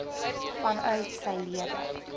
vanuit sy lede